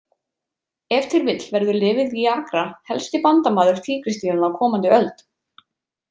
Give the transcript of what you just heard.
Ef til vill verður lyfið Viagra helsti bandamaður tígrisdýranna á komandi öld.